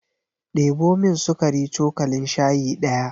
Ɗebo min sukari cokalin shayi ɗaya.